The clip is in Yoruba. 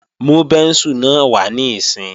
Mú bẹ́ńsù náà wá níìsín!